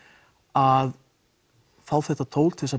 að fá þetta tól til að